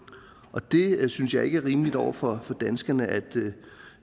og det synes jeg ikke er rimeligt over for danskerne